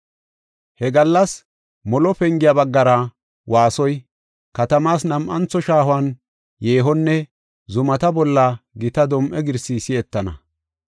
“He gallas Molo Pengiya baggara waasoy, katamaas nam7antho shaahuwan yeehonne zumata bolla gita dom7e girsi si7etana.